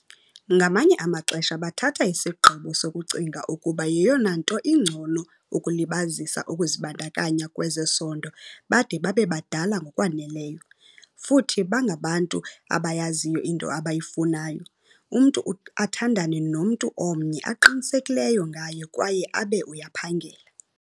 Ngamanye amaxesha bathatha isigqibo sokucinga ukuba yeyona nto ingcono ukulibazisa ukuzibandakanya kwezesondo bade babe badala ngokwaneleyo, futhi bangabantu abayaziyo into abayifunayo, umntu athandane nomntu omnye aqinisekileyo ngaye kwaye abe uyaphangela.